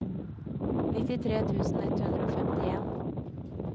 nittitre tusen ett hundre og femtien